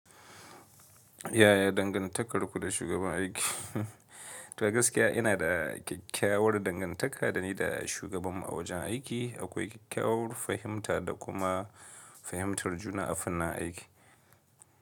Yaya dangantakarku da shugaban aiki? Toh a gaskiya ina da kyakkyawar dangantaka da ni da shugabanmu a wajen aiki. Akwai kyakkyawar fahimta da kuma fahimtar juna a fannin aiki.